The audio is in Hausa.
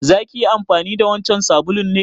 Za ki yi amfani da wancan sabulun ne?